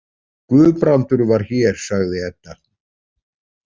Guðbrandur var hér, sagði Edda.